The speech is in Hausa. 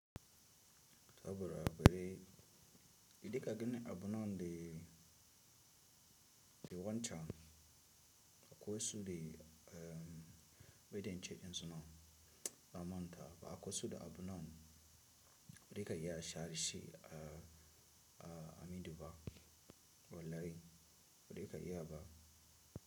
Saboda bari, idan ka gani abun nan dai, dai wancan, akwai wasu dai, umm, ba idan ce dinsu nan, na manta, ba akwasu da abun nan. Wada ka iya share shi a, a, a minduba wallahi, bada ka iya ba.